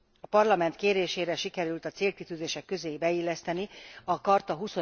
A Parlament kérésére sikerült a célkitűzések közé beilleszteni a charta